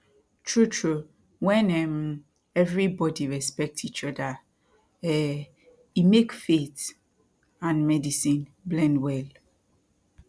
trutru wen um everi bodi respect each oda um e mak faith and medicine blend well